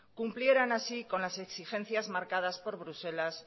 cumplieran así con las exigencias marcadas por bruselas